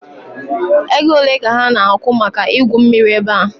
Ego ole ka ha na-akwụ maka igwu mmiri ebe a?